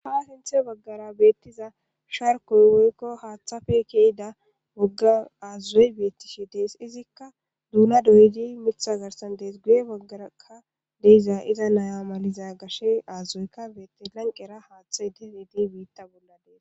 Ha sinthe baggara beettiza sharkoy woykko haaththafe keyida woggan aazzuzoy beettishi dees izikka duuna doyidi mitha garsan dees guye baggaraka deiza iza naya maliza gashe aazazoyka beetti lanqera haaththa dfidi biitta bolladees.